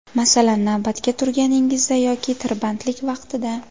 Masalan, navbatga turganingizda yoki tirbandlik vaqtida.